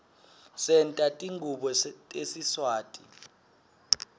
senta tingubo tesiswati